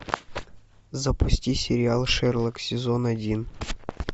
запусти сериал шерлок сезон один